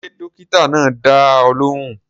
Ṣé dókítà náà dá ọ lóhùn?